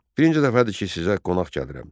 Birinci dəfədir ki, sizə qonaq gəlirəm.